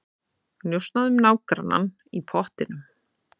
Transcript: Njósnað um nágrannann í pottinum